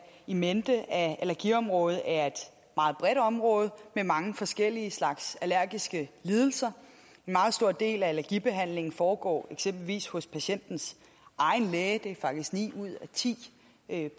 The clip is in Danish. in mente at allergiområdet er et meget bredt område med mange forskellige slags allergiske lidelser en meget stor del af allergibehandlingen foregår eksempelvis hos patientens egen læge det er faktisk ni ud af ti